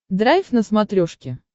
драйв на смотрешке